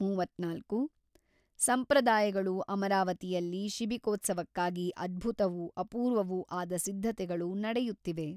ಮೂವತ್ತ್ನಾಲ್ಕು ಸಂಪ್ರದಾಯಗಳು ಅಮರಾವತಿಯಲ್ಲಿ ಶಿಬಿಕೋತ್ಸವಕ್ಕಾಗಿ ಅದ್ಭುತವೂ ಅಪೂರ್ವವೂ ಆದ ಸಿದ್ಧತೆಗಳು ನಡೆಯುತ್ತಿವೆ.